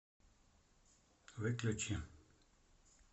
выключи